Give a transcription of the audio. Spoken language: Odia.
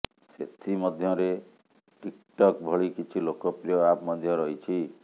ସେଥିମଧ୍ୟରେ ଟିକ୍ଟକ୍ ଭଳି କିଛି ଲୋକପ୍ରିୟ ଆପ୍ ମଧ୍ୟ ରହିଛି